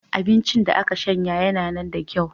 Abincin da aka shanya yanana da kyau.